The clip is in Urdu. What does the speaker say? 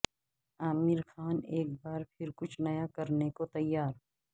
عامر خان ایک بار پھر کچھ نیا کرنے کو تیار